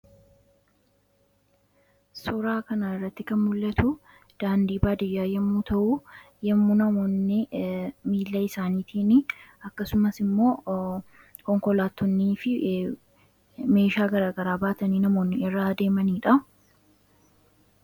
Suuraa kanarratti kan mul'atuu, daandii baadiyyaa yommuu ta'uu, yommuu namoonni miila isaaniitinii akkasumasimmoo konkolaattonniifi meeshaa garagaraa baatanii namoonni irra deemanidha .